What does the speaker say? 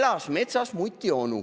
"Elas metsas mutionu".